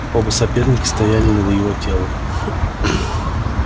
оба соперника стояли над его телом